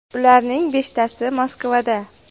Ularning beshtasi Moskvada.